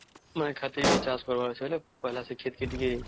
ନାଇଁ ଖାତେ ବି ଚାଷ କରିବର ଅଛେ ତା ପେହଲା ଖେତ କେ ଟିକେ